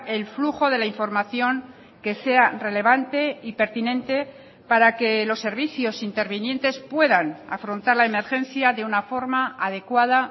el flujo de la información que sea relevante y pertinente para que los servicios intervinientes puedan afrontar la emergencia de una forma adecuada